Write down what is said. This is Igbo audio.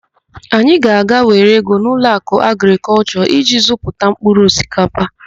Anyị ga-aga were ego n'Ụlọakụ Agrịkọlshọ iji zụta mpkụrụ osikapa.